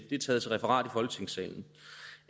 det er taget til referat